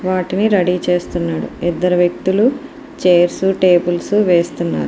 What'll ని ready చేస్తున్నాడు ఇద్దరు వ్యక్తులు చైర్స్ టేబుల్స్ వేస్తున్నారు.